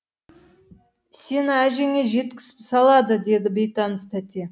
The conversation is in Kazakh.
сені әжеңе жеткізіп салады деді бейтаныс тәте